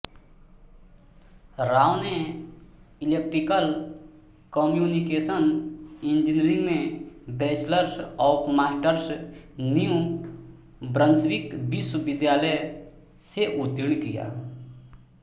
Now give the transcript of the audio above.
राव ने electrical communication engineering में bachelors और मास्टर्स न्यू ब्रंसविक विश्वविद्यालय से उत्तीर्ण किया